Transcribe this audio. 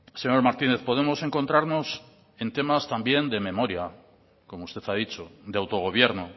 señor martínez podemos encontrarnos en temas también de memoria como usted ha dicho de autogobierno